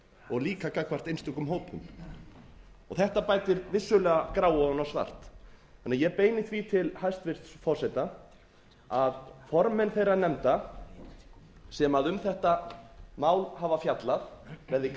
og líka gagnvart einstökum hópum þetta bætir vissulega gráu ofan á svart þannig að ég beini því til hæstvirts forseta að formenn þeirra nefnda sem um þetta mál hafa fjallað verði